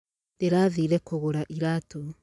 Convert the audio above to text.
Ndĩrathiĩre kũgũra iraatũ